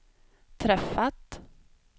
träffat